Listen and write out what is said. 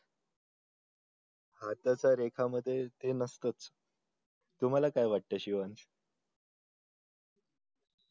आजच्या तर रेखामध्ये हे नसतच तुम्हाला काय वाटत शिवांश